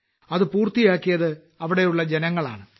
അത് പൂർത്തിയാക്കിയത് അവിടെയുള്ള ജനങ്ങളാണ്